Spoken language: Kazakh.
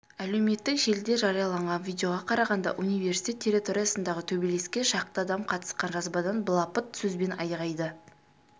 әлеуметтік желіде жарияланған видеоға қарағанда университет территориясындағы төбелеске шақты адам қатысқан жазбадан былапыт сөз бен айғайды